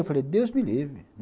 Eu falei, Deus me livre.